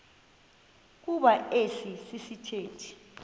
kuba esi sithethe